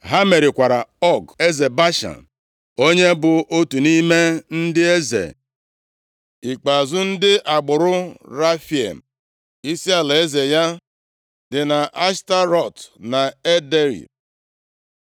Ha merikwara Ọg, eze Bashan, onye bụ otu nʼime ndị eze ikpeazụ ndị agbụrụ Refaim. Isi alaeze ya dị nʼAshtarọt na Edrei.